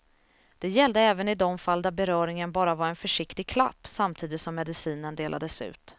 Det gällde även i de fall där beröringen bara var en försiktig klapp samtidigt som medicinen delades ut.